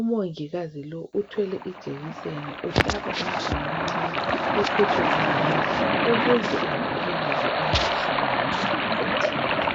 umongikazi lothwele ijekiseni uhaba umntwana omncani ophethwe ngunina ukuze avikeleke emkhuhlaneni ethile